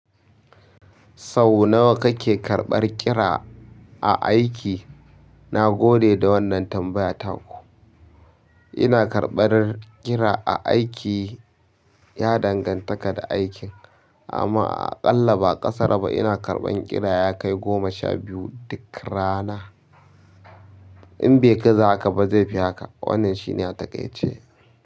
Sau nawa kake karɓar kira a aiki? Na gode da wannan tambaya taku. Ina karɓar kira a aiki ya danganta da aikin, amma aƙalla ba ƙasara ba. Ina karɓan kira ya kai goma sha biyu duk rana. In bai gaza haka ba zai fi haka. Wannan shi ne ya take ce.